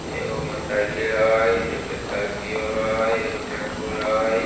एगो मोटरसाइकिल हई एगो स्कार्पियो हई एगो टेम्पु हई।